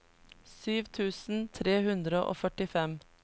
sju tusen tre hundre og førtifem